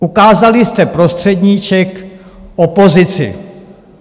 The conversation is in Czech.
Ukázali jste prostředníček opozici.